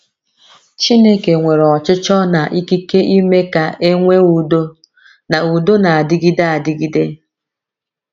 Chineke nwere ọchịchọ na ikike ime ka e nwee udo na udo na - adịgide adịgide.